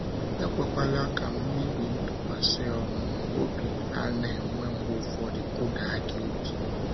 Ekwekwala ka mmebi ntụkwasị um obi ana- enwe mgbe ufọdụ kụda gi obi.